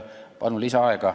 Palun lisaaega!